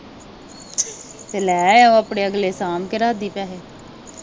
ਤੇ ਲੈ ਉਹ ਆਪਣੇ ਅਗਲੇ ਸਾਂਭ ਕੇ ਰੱਖਦੀ ਪੈਸੇ